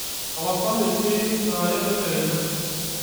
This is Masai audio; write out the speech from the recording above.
tapasali inyioyieki saa are tedekenya